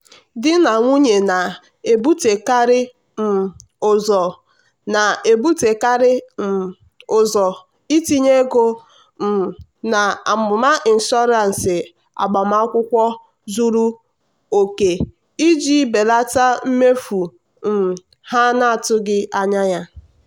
di na nwunye na-ebutekarị um ụzọ na-ebutekarị um ụzọ itinye ego um na amụma ịnshọansị agbamakwụkwọ zuru oke iji belata mmefu um ha atụghị anya ya.